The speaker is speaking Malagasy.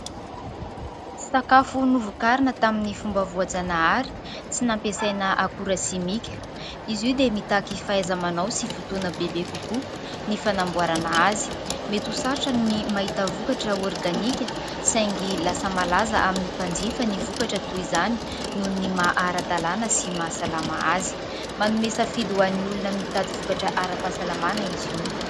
Sakafo novokarina tamin'ny fomba voajanahary, tsy nampiasaina akora simika. Izy io dia mitaky fahaiza-manao sy fotoana bebe kokoa ny fanamboarana azy. Mety ho sarotra ny mahita vokatra organika saingy lasa malaza amin'ny mpanjifa ny vokatra toy izany noho ny maha ara-dalàna sy mahasalama azy. Manome safidy ho an'ny olona mitady vokatra ara-pahasalamana izy io.